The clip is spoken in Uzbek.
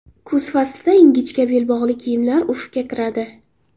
Kuz faslida ingichka belbog‘li kiyimlar urfga kiradi.